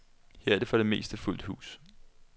Her er der for det meste fuldt hus.